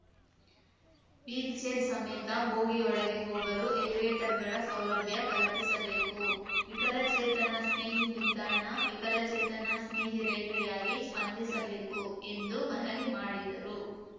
wheel chair ಸಮೇತ ಬೋಗಿಯೊಳಗೆ ಹೋಗಲು ಎಲಿವೇಟರ್‌ಗಳ ಸೌಲಭ್ಯ ಕಲಿಪಿಸಬೇಕು ವಿಕಲಚೇತನ ಸ್ನೇಹಿ ನಿಲ್ದಾಣ ವಿಕಲಚೇತನ ಸ್ನೇಹಿ ರೈಲ್ವೆಯಾಗಿ ಸ್ಪಂದಿಸಬೇಕು ಎಂದು ಮನವಿ ಮಾಡಿದರು